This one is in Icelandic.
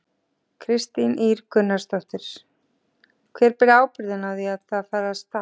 Kristín Ýr Gunnarsdóttir: Hver ber þá ábyrgðina á því að það fari af stað?